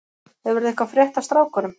Hefurðu eitthvað frétt af strákunum?